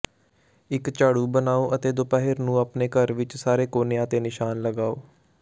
ਇੱਕ ਝਾੜੂ ਬਣਾਉ ਅਤੇ ਦੁਪਹਿਰ ਨੂੰ ਆਪਣੇ ਘਰ ਵਿੱਚ ਸਾਰੇ ਕੋਨਿਆਂ ਤੇ ਨਿਸ਼ਾਨ ਲਗਾਓ